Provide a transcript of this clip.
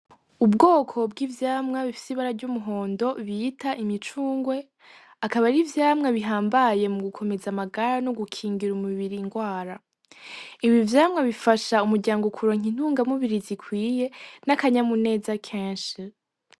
Ubwoko bw’ivyamwa bifise ibara ry’umuhondo bita imicungwe, akaba ari ivyamwa bihambaye mu gukomeza amagara no gukingira umubiri indwara Ibi vyamwa bifasha umuryango kuronka intungamubiri zikwiye n’akanyamuneza kenshi.